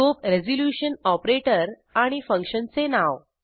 scope resolution operator आणि फंक्शनचे नाव